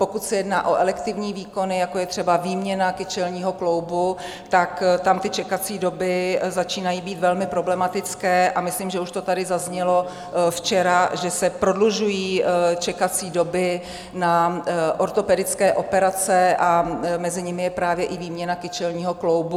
Pokud se jedná o elektivní výkony, jako je třeba výměna kyčelního kloubu, tak tam ty čekací doby začínají být velmi problematické, a myslím, že už to tady zaznělo včera, že se prodlužují čekací doby na ortopedické operace, a mezi nimi je právě i výměna kyčelního kloubu.